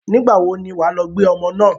Nígbà wo ni wà á lọ gbé ọmọ náà?